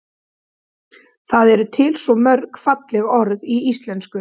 það eru til svo mörg falleg orð í íslenksu